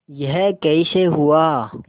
यह कैसे हुआ